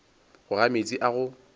go ga meetse a go